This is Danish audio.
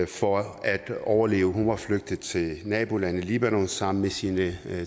for at overleve hun var flygtet til nabolandet libanon sammen med sine